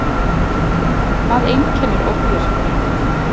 Hvað einkennir ofvirkni?